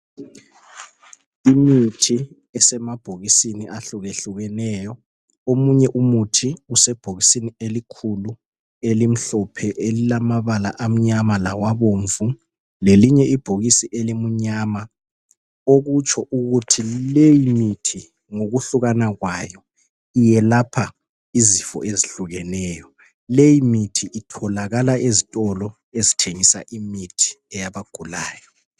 Imithi esemabhokisini ahlukahlukeneyo , omunye umuthi usebhokisini elikhulu elimhlophe elilamabala amnyama lawabomvu lelinye ibhokisi elimnyama okutsho ukuthi leyimithi ngokuhlukana kwayo iyelapha izifo ezihlukeneyo , leyi mithi itholakala ezitolo ezithengisa imithi yabagulayo